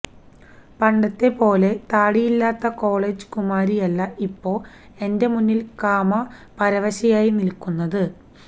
പണ്ടത്തെ പോലെ തടിയില്ലാത്ത കോളേജ് കുമാരിയല്ല ഇപ്പൊ എന്റെ മുന്നിൽ കാമ പരവശയായി നില്കുന്നത്